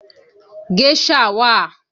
Géṣà wà